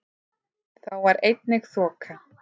Þá var einnig þoka